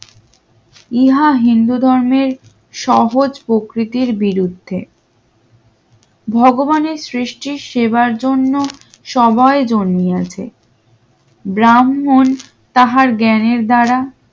ইহা হিন্দু ধর্মের সহজ প্রকৃতির বিরুদ্ধে ভগবানের সৃষ্টির সেবার জন্য সবাই দুনিয়াতে ব্রাহ্মণ তাহার জ্ঞানের দ্বারা